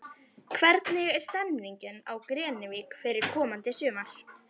Hvernig er stemmingin á Grenivík fyrir komandi sumar?